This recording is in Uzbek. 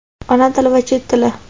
Ona tili va Chet tili.